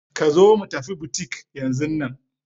Ka zo mu tafi butik yanzun nan!